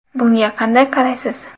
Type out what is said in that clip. Bunga qanday qaraysiz?